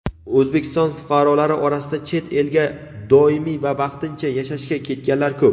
O‘zbekiston fuqarolari orasida chet elga doimiy va vaqtincha yashashga ketganlar ko‘p.